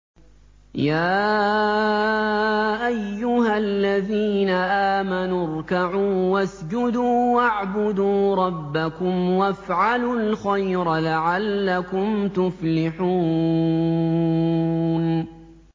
يَا أَيُّهَا الَّذِينَ آمَنُوا ارْكَعُوا وَاسْجُدُوا وَاعْبُدُوا رَبَّكُمْ وَافْعَلُوا الْخَيْرَ لَعَلَّكُمْ تُفْلِحُونَ ۩